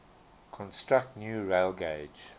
construct new railgauge